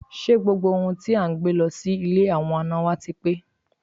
Ṣé gbogbo ohun tí à ń gbé lọ sí ilé àwọn àna wá ti pé?